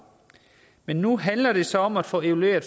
men nu handler det så om at få evalueret